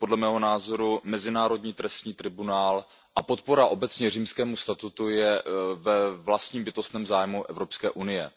Podle mého názoru Mezinárodní trestní tribunál a podpora obecně Římskému statutu jsou ve vlastním bytostném zájmu Evropské unie.